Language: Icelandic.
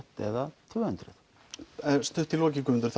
eða tvö hundruð stutt í lokin Guðmundur